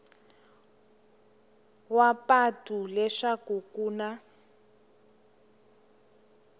wa patu leswaku ku na